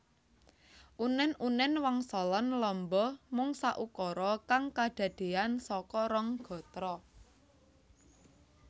Unen unen wangsalan lamba mung saukara kang kadadean saka rong gatra